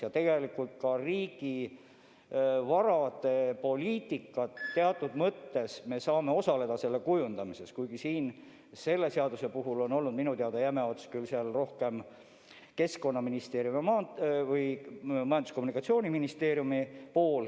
Ja tegelikult me saame riigivara poliitika kujundamisel teatud mõttes osaleda, kuigi selle seaduse puhul on olnud minu teada jäme ots küll rohkem Majandus- ja Kommunikatsiooniministeeriumi käes.